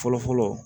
Fɔlɔ fɔlɔ